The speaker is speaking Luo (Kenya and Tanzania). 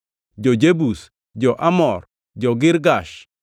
jo-Jebus, jo-Amor, jo-Girgash,